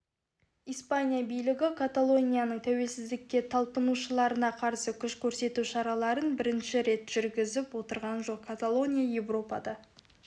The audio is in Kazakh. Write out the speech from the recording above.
испания билігі каталонияның тәуелсіздікке талпынушыларына қарсы күш көрсету шараларын бірінші рет жүргізіп отырған жоқ каталония еуропада